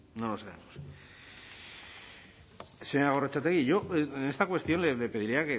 no lo sabemos señora gorrotxategi yo en esta cuestión le pediría